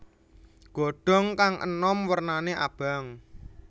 Godhong kang enom wernane abang